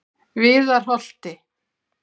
Viðarholti